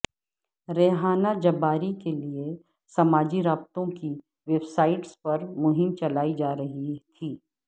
Rehana Jabbari کے لیے سماجی رابطوں کی ویب سائٹس پر مہم چلائی جا رہی تھی